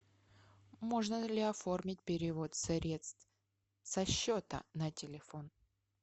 можно ли оформить перевод средств со счета на телефон